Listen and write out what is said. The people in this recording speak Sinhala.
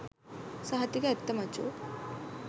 සහතික ඇත්ත මචෝ